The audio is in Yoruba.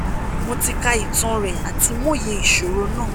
mo ti ka itan rẹ ati mo ye iṣoro naa